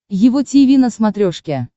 его тиви на смотрешке